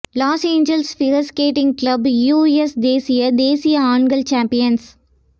loss Angeles figure skating club US தேசிய தேசிய ஆண்கள் சாம்பியன்ஸ்